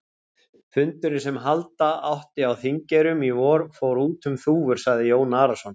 Fundurinn sem halda átti á Þingeyrum í vor, fór út um þúfur, sagði Jón Arason.